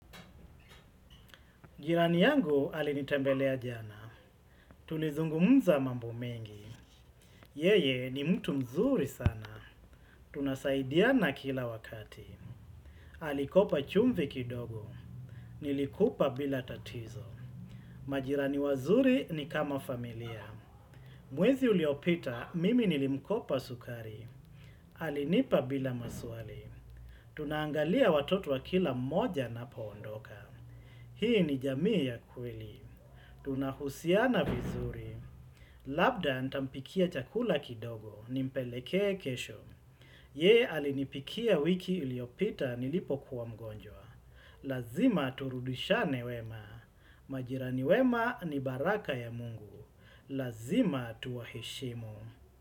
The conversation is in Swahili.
Jirani yangu alinitembelea jana. Tulizungumza mambo mengi. Yeye ni mtu mzuri sana. Tunasaidiana kila wakati. Alikopa chumvi kidogo. Nilikupa bila tatizo. Majirani wazuri ni kama familia. Mwezi uliopita mimi nilimkopa sukari. Alinipa bila maswali. Tunaangalia watoto wa kila mmoja anapaondoka. Hii ni jamii ya kweli. Tunahusiana vizuri. Labda ntampikia chakula kidogo nimpelekee kesho. Yeye alinipikia wiki uliopita nilipokuwa mgonjwa. Lazima turudishane wema. Majirani wema ni baraka ya mungu. Lazima tuwaheshimu.